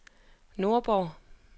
Nordborg